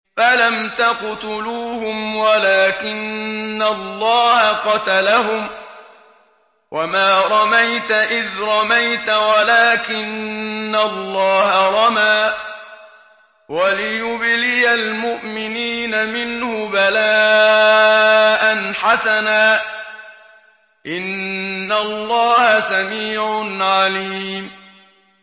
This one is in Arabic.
فَلَمْ تَقْتُلُوهُمْ وَلَٰكِنَّ اللَّهَ قَتَلَهُمْ ۚ وَمَا رَمَيْتَ إِذْ رَمَيْتَ وَلَٰكِنَّ اللَّهَ رَمَىٰ ۚ وَلِيُبْلِيَ الْمُؤْمِنِينَ مِنْهُ بَلَاءً حَسَنًا ۚ إِنَّ اللَّهَ سَمِيعٌ عَلِيمٌ